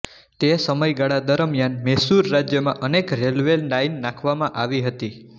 તે સમયગાળા દરમ્યાન મૈસૂર રાજ્યમાં અનેક રેલ્વે લાઈન નાંખવામાં આવી હતી